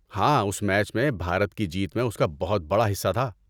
ہاں، اس میچ میں بھارت کی جیت میں اس کا بہت بڑا حصہ تھا۔